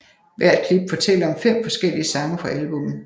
Hvert klip fortæller om fem forskellige sange fra albummet